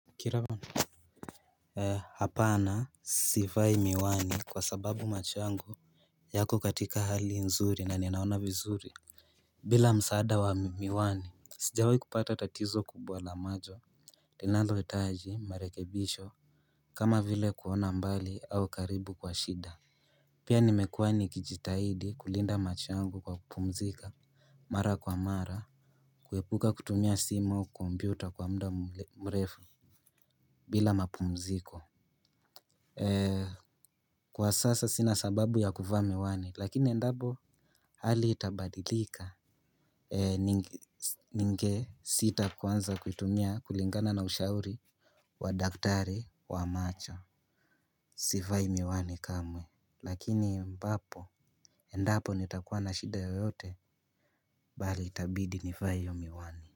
Hapana sivai miwani kwa sababu macho yangu yako katika hali nzuri na ninaona vizuri. Bila msaada wa miwani sijawai kupata tatizo kubwa la macho linalohitaji marekebisho kama vile kuona mbali au karibu kwa shida. Pia nimekuwa nikijitahidi kulinda macho yangu kwa kupumzika mara kwa mara kuepuka kutumia simu au kompyuta kwa mda mrefu bila mapumziko. Kwa sasa sina sababu ya kuvaa miwani lakini endapo hali hii itabadilika ningesita kuanza kuitumia kulingana na ushauri wa daktari wa macho. Sivai miwani kamwe lakini ambapo endapo nitakuwa na shida yoyote bali itabidi nivae hiyo miwani.